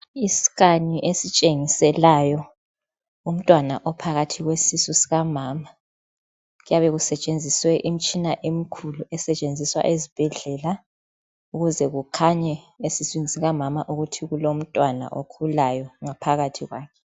I"scan" esitshengiselwayo, umtwana uphakathi kwesisu sikamama. Kuyabe kusetshenziswe imitshina emikhulu esetshenziswa ezibhedlela ukuze kukhanye esiswini sikamama ukuthi kulomntwana okhulayo ngaphakathi kwakhe.